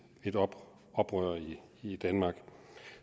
oprør i danmark